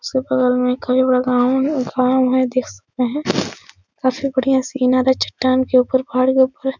उसके बगल मै कोई बड़ा गांव है और गांव है देख सकते हैं। काफी बढ़ियां सीन आ रहा है चट्टान के ऊपर पहाड़ी के ऊपर।